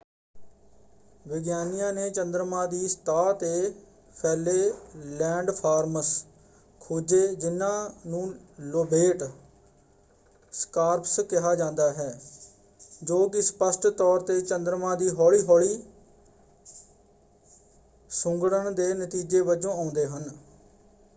ਵਿਗਿਆਨੀਆਂ ਨੇ ਚੰਦਰਮਾ ਦੀ ਸਤ੍ਹਾ 'ਤੇ ਫੈਲੇ ਲੈਂਡਫਾਰਮਸ ਖੋਜੇ ਜਿਨ੍ਹਾਂ ਨੂੰ ਲੋਬੇਟ ਸਕਾਰਪਸ ਕਿਹਾ ਜਾਂਦਾ ਹੈ ਜੋ ਕਿ ਸਪਸ਼ਟ ਤੌਰ 'ਤੇ ਚੰਦਰਮਾ ਦੇ ਹੌਲੀ ਹੌਲੀ ਸੁੰਗੜਨ ਦੇ ਨਤੀਜੇ ਵਜੋਂ ਆਉਂਦੇ ਹਨ।